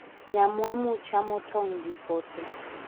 Nyamwamu chamo tong' gi pote